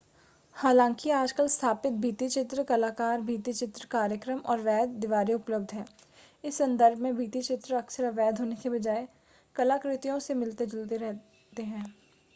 हालांकि आजकल स्थापित भित्तिचित्र कलाकार भित्तिचित्र कार्यक्रम और वैध दीवारें उपलब्ध हैं इस संदर्भ में भित्तिचित्र अक्सर अवैध होने के बजाय कलाकृतियों से मिलते जुलते दिखते हैं